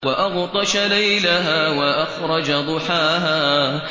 وَأَغْطَشَ لَيْلَهَا وَأَخْرَجَ ضُحَاهَا